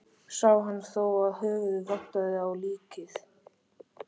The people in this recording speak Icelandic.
Sá hann þá að höfuðið vantaði á líkið.